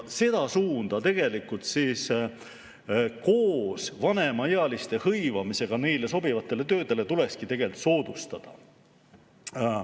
Seda suunda koos vanemaealiste hõivamisega neile sobivatele töödele tulekski tegelikult soodustada.